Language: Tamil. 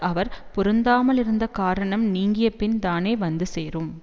அவர் பொருந்தாமலிருந்த காரணம் நீங்கியபின் தானே வந்து சேரும்